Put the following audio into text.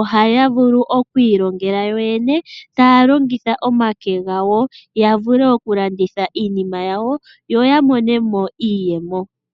oha ya vulu okwiilongela yo yene, ta ya longitha omake gawo, ya vule okulanditha iinima yawo, yo ya mone mo iiyemo.